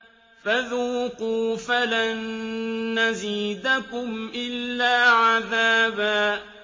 فَذُوقُوا فَلَن نَّزِيدَكُمْ إِلَّا عَذَابًا